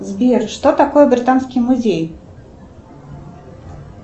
сбер что такое британский музей